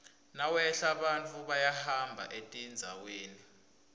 nawehla bantfu bayahamba etindzaweni